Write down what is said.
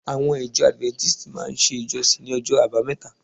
Àwọn ìjọ Adventists máa ń ṣe ìjọsìn ní ọjọ́ àbámẹ́ta